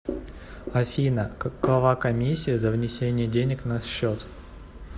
афина какова комиссия за внесение денег на счет